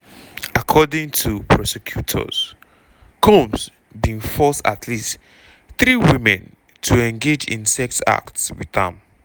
according to prosecutors combs bin force at least three women to engage in sex acts wit am.